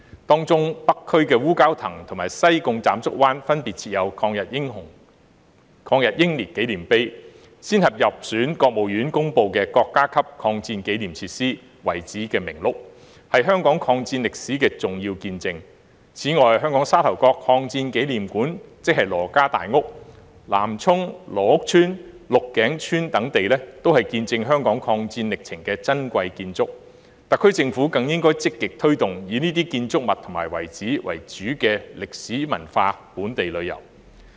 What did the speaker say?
當中北區烏蛟騰和西貢斬竹灣分別設有抗日英烈紀念碑，先後入選國務院公布的國家級抗戰紀念設施、遺址名錄，是香港抗戰歷史的重要見證；此外，香港沙頭角抗戰紀念館、南涌羅屋村、鹿頸村等地，都是見證香港抗戰歷程的珍貴建築，特區政府更應積極推動以這些建築物及遺址為主的歷史文化本地旅遊。